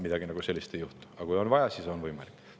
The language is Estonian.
Aga kui on vaja, siis on võimalik.